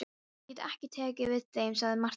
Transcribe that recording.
Ég get ekki tekið við þeim, sagði Marteinn.